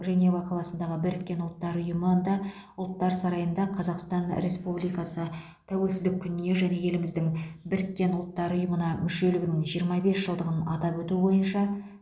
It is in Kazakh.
женева қаласындағы біріккен ұлттар ұйымында ұлттар сарайында қазақстан республикасы тәуелсіздік күніне және еліміздің біріккен ұлттар ұйымына мүшелігінің жиырма бес жылдығын атап өту бойынша